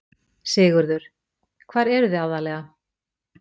Sigurður: Hvar eruð þið aðallega?